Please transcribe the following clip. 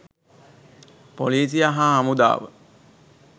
පොලීසිය හා හමුදාව.